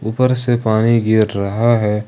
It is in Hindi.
ऊपर से पानी गिर रहा है।